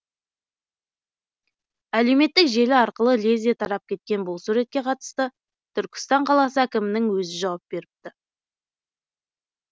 әлеуметтік желі арқылы лезде тарап кеткен бұл суретке қатысты түркістан қаласы әкімінің өзі жауап беріпті